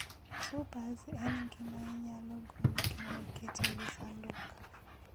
Supers En gima inyalo gol kendo iket e wi sanduk.